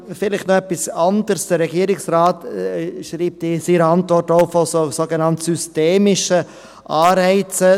Vielleicht noch etwas anderes: Der Regierungsrat schreibt in seiner Antwort auch von sogenannt systemischen Anreizen.